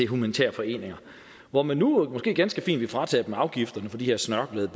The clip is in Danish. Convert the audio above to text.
humanitære foreninger hvor man nu måske ganske fint vil fratage dem afgifterne på de her snørklede